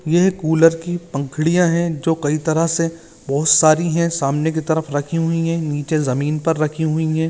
ये कूलर की पंखडिया है जो कई तरह से बहुत सारी है सामने की तरफ राखी हुई है निचे जमीन पर राखी हुई है।